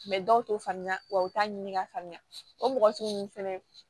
dɔw t'o faamuya wa u t'a ɲini ka faamuya o mɔgɔ sugu ninnu fɛnɛ